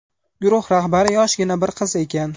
Guruh rahbari yoshgina bir qiz ekan.